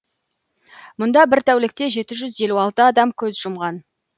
мұнда бір тәулікте жеті жүз елу алты адам көз жұмған